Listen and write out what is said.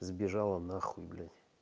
сбежала на хуй блять